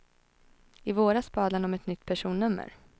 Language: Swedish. I våras bad han om ett nytt personnummer.